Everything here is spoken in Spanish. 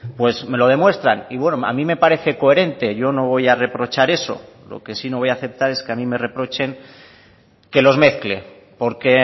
pues me lo demuestran y bueno a mí me parece coherente yo no voy a reprochar eso lo que sí no voy a aceptar es que a mí me reprochen que los mezcle porque